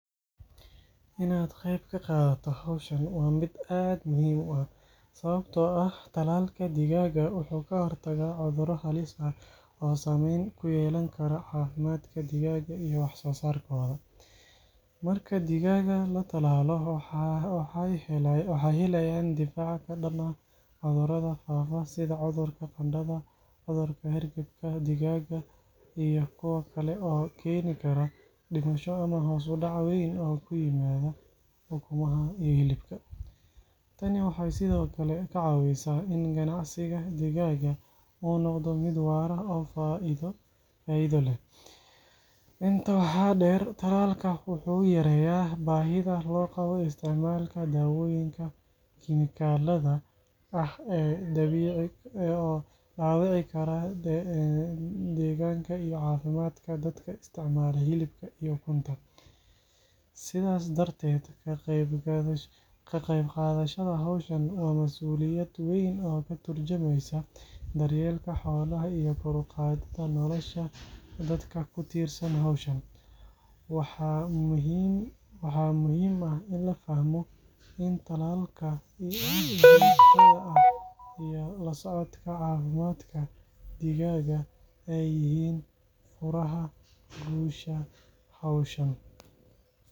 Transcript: Inaad qayb ka qaadato hawshan waa mid aad muhiim u ah, sababtoo ah tallaalka digaagga wuxuu ka hortagaa cuduro halis ah oo saameyn ku yeelan kara caafimaadka digaagga iyo wax soo saarkooda. Marka digaagga la tallaalo, waxay helayaan difaac ka dhan ah cudurada faafa sida cudurka qandhada, cudurka hargabka digaagga, iyo kuwo kale oo keeni kara dhimasho ama hoos u dhac weyn oo ku yimaada ukumaha iyo hilibka. Tani waxay sidoo kale ka caawisaa in ganacsiga digaagga uu noqdo mid waara oo faa’iido leh. Intaa waxaa dheer, tallaalka wuxuu yareeyaa baahida loo qabo isticmaalka daawooyinka kiimikada ah ee dhaawici kara deegaanka iyo caafimaadka dadka isticmaala hilibka iyo ukunta. Sidaas darteed, ka qayb qaadashada hawshan waa masuuliyad weyn oo ka tarjumaysa daryeelka xoolaha iyo kor u qaadida nolosha dadka ku tiirsan hawshan. Waxaa muhiim ah in la fahmo in tallaalka joogtada ah iyo la socodka caafimaadka digaagga ay yihiin furaha guusha hawshan.